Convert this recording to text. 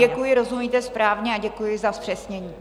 Děkuji, rozumíte správně, a děkuji za zpřesnění.